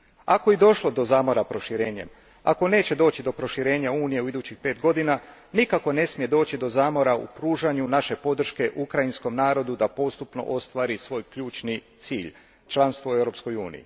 Ako je i došlo do zamora proširenjem, ako neće doći do proširenja Unije u idućih pet godina, nikako ne smije doći do zamora u pružanju naše podrške ukrajinskom narodu da postupno ostvari svoj ključni cilj članstvo u EU u.